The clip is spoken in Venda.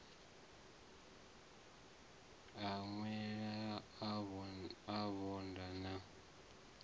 a ṅweṅwela a vhanda na